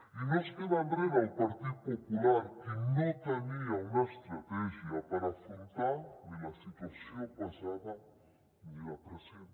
i no es queda enrere el partit popular que no tenia una estratègia per afrontar ni la situació passada ni la present